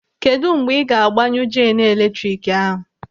Kedụ mgbe ị ga-agbanyụ jeenu eletrik ahụ?